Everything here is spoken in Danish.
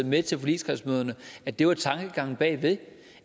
med til forligskredsmøderne at det var tankegangen bag ved